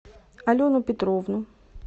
алену петровну